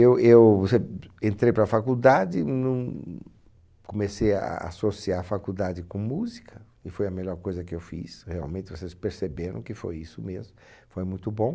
Eu eu reh entrei para a faculdade num, comecei a associar a faculdade com música, e foi a melhor coisa que eu fiz, realmente vocês perceberam que foi isso mesmo, foi muito bom.